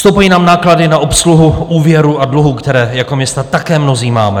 Stoupají nám náklady na obsluhu úvěrů a dluhů, které jako města také mnozí máme.